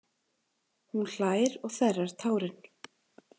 Hún hlær og þerrar tárin.